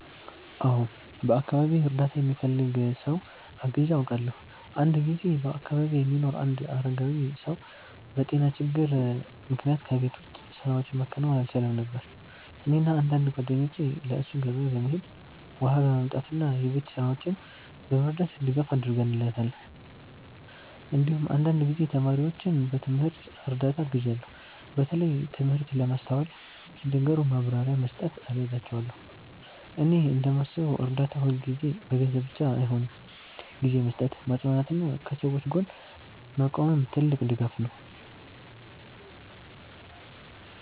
አዎ፣ በአካባቢዬ እርዳታ የሚፈልግ ሰው አግዤ አውቃለሁ። አንድ ጊዜ በአካባቢዬ የሚኖር አንድ አረጋዊ ሰው በጤና ችግር ምክንያት ከቤት ውጭ ስራዎችን ማከናወን አልቻለም ነበር። እኔና አንዳንድ ጓደኞቼ ለእሱ ገበያ በመሄድ፣ ውሃ በማምጣት እና የቤት ስራዎችን በመርዳት ድጋፍ አድርገንለታል። እንዲሁም አንዳንድ ጊዜ ተማሪዎችን በትምህርት እርዳታ አግዣለሁ፣ በተለይ ትምህርት ለማስተዋል ሲቸገሩ ማብራሪያ በመስጠት እረዳቸዋለሁ። እኔ እንደማስበው እርዳታ ሁልጊዜ በገንዘብ ብቻ አይሆንም፤ ጊዜ መስጠት፣ ማጽናናት እና ከሰዎች ጎን መቆምም ትልቅ ድጋፍ ነው።